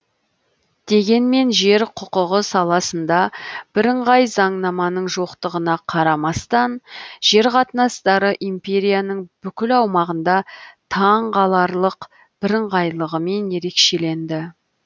дегенмен жер құқығы саласында бірыңғай заңнаманың жоқтығына қарамастан жер қатынастары империяның бүкіл аумағында таңғаларлық бірыңғайлығымен ерекшеленді